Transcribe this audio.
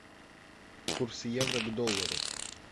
курс евро к доллару